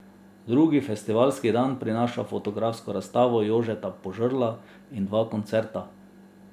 Drugi festivalski dan prinaša fotografsko razstavo Jožeta Požrla in dva koncerta.